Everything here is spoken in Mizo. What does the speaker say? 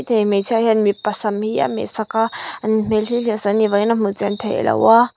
chei hmeichhia hian mipa sam hi a meh saka an hmel hi hliah sak a ni vangin a hmu chian theilo a.